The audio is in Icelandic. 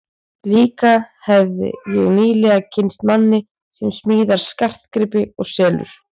Líka hefi ég nýlega kynnst manni sem smíðar skartgripi og selur.